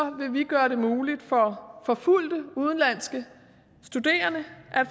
gøre det muligt for forfulgte udenlandske studerende